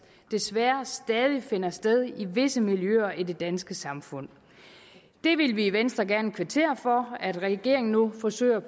desværre stadig finder sted i visse miljøer i det danske samfund det vil vi i venstre gerne kvittere for at regeringen nu forsøger